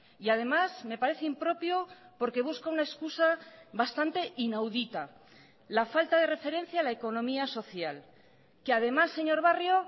y además me parece impropio porque busca una excusa bastante inaudita la falta de referencia a la economía social que además señor barrio